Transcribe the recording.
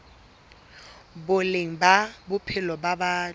boleng ba bophelo ba batho